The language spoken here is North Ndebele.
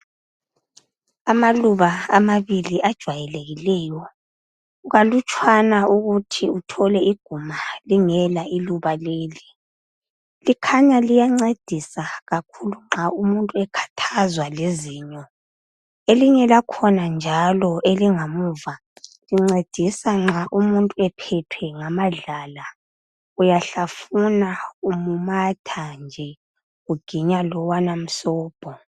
Amaluba amabili ajwayelekileyo kukalutshwana ukuthi uthole iguma uthole lingela iluba leli likhanya liyancedisa kakhulu nxa umuntu ekhathazwa lizinyo elinye lakhona njalo elingamuva lincedisa nxa umuntu ephethwe ngamadlala uyadlafuna umumatha nje uginya lowana msobho.